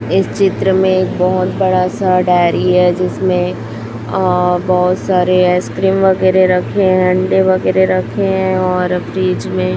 इस चित्र में एक बहुत बड़ा सा डेयरी है जिसमें अह बहुत सारे आइसक्रीम वगैरह रखे है अंडे वगैरह रखे है और फ्रिज में --